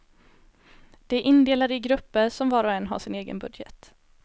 De är indelade i grupper som var och en har sin egen budget.